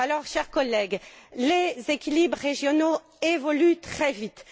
Chers collègues, les équilibres régionaux évoluent très vite.